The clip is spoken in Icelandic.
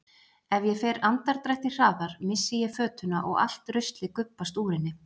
Ef ég fer andardrætti hraðar missi ég fötuna og allt ruslið gubbast úr henni.